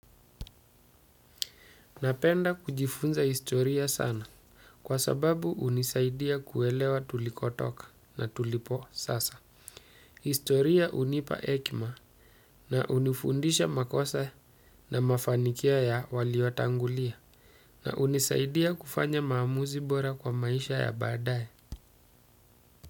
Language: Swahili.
Napenda kujifunza historia sana kwa sababu hunisaidia kuelewa tulikotoka na tulipo sasa. Historia hunipa hekima na hunifundisha makosa na mafanikio ya waliotangulia na hunisaidia kufanya maamuzi bora kwa maisha ya baadaye.